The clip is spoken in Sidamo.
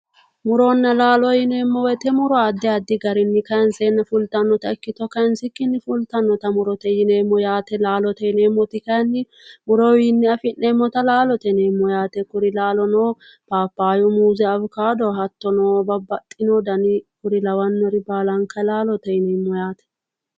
Muronna laalo yineemmo woyte muro addi addi garinni kayinsenna fulittanotta ikkitto kayinsikkinni fulittanotta murote yineemmo ,laalote yineemmoti kayinni murotewinni afi'neemmotta laalote yineemmo yaate kuri laalono phaphaya muuze, awukkado hattonno babbaxino danni kuri lawanore laalote yineemmo yaate.